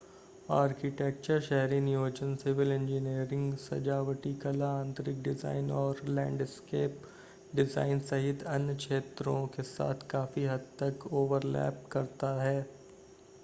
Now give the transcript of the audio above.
architecture शहरी नियोजन civil engineering सजावटी कला आंतरिक डिज़ाइन और लैंडस्केप डिज़ाइन सहित अन्य क्षेत्रों के साथ काफी हद तक ओवरलैप करता है